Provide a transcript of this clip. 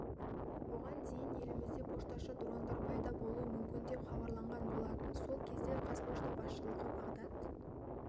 бұған дейін елімізде пошташы дрондар пайда болуы мүмкін деп хабарланған болатын сол кезде қазпошта басшысы бағдат